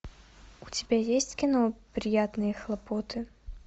у тебя есть кино приятные хлопоты